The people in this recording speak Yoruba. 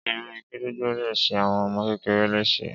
Ére gídígbò le ṣe àwọn ọmọ kékeré lese